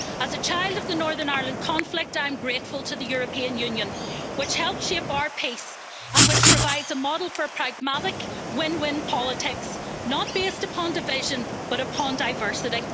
As a child of the Northern Ireland conflict, I'm grateful to the European Union, which helped shape our peace and which provides a model for pragmatic win win politics based not on division but upon diversity.